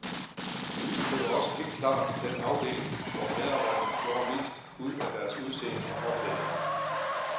Det var også helt klart den afdeling, hvor medarbejderne gjorde mest ud af deres udseende og påklædning.